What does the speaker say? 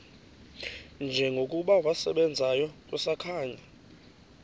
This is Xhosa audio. njengokuba wasebenzayo kusakhanya